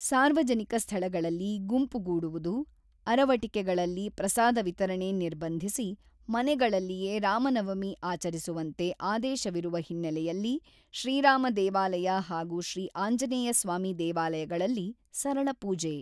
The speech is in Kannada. ಸಾರ್ವಜನಿಕ ಸ್ಥಳಗಳಲ್ಲಿ ಗುಂಪುಗೂಡುವುದು, ಅರವಟಿಕೆಗಳಲ್ಲಿ ಪ್ರಸಾದ ವಿತರಣೆ ನಿರ್ಬಂಧಿಸಿ, ಮನೆಗಳಲ್ಲಿಯೇ ರಾಮನವಮಿ ಆಚರಿಸುವಂತೆ ಆದೇಶವಿರುವ ಹಿನ್ನಲೆಯಲ್ಲಿ ಶ್ರೀ ರಾಮ ದೇವಾಲಯ ಹಾಗೂ ಶ್ರೀ ಆಂಜನೇಯ ಸ್ವಾಮಿ ದೇವಾಲಯಗಳಲ್ಲಿ ಸರಳ ಪೂಜೆ